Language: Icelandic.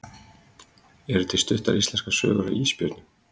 Eru til stuttar íslenskar sögur af ísbjörnum?